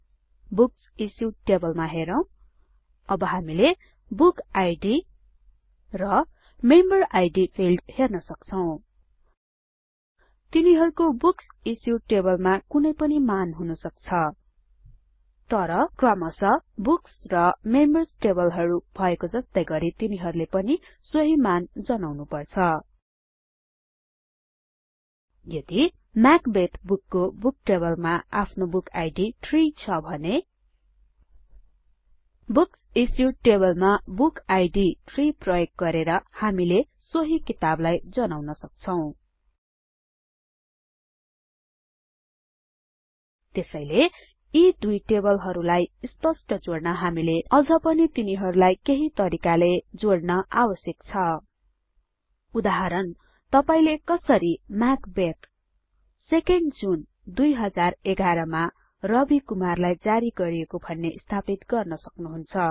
books issued टेबलमा हेरौ अब हामीले बुक आइडी र मेम्बर इद फिल्ड्स हेर्न सक्छौ तिनीहरूको बुक्स इश्युड टेबलमा कुनै पनि मूल्य हुनसक्छ तर क्रमशः बुक्स र मेम्बर्स टेबलहरू भएको जस्तै गरी तिनीहरूले सोहि मान जनाउनु पर्छ यदि म्याकबेथ बुकको बुकटेबलमा आफ्नो बुक आइडी ३ छ भने बुक्स इश्युड टेबलमा बुक आइडी 3 प्रयोग गरेर हामीले सोहि किताबलाई जनाउन सक्छौ त्यसैले यी दुई टेबलहरूलाई स्पष्ट जोड्न हामीले अझ पनि तिनीहरुलाई केहि तरिकाले जोड्न आवश्यक छ उदाहरणतपाईले कसरी म्याकबेथ 2एनडी जुन २०११ मा रवि कुमारलाई जारी गरिएको भन्ने स्थापित गर्न सक्नुहुन्छ